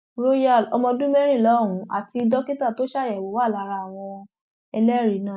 royal ọmọọdún mẹrìnlá ọhún àti dókítà tó ṣàyẹwò wà lára àwọn ẹlẹrìí náà